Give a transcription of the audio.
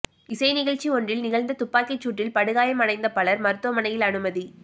இசை நிகழ்ச்சி ஒன்றில் நிகழ்ந்த துப்பாக்கிச்சூட்டில் படுகாயமடைந்த பலர் மருத்துவமனையில் அனுமதி